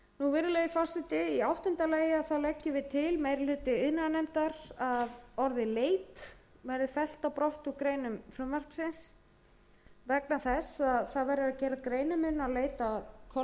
virðulegi forseti í áttunda lagi leggur meiri hlutinn til þess að orðið leit verði fellt brott úr greinum frumvarpsins gera verður greinarmun á leit að kolvetni annars vegar og rannsóknum og vinnslu hins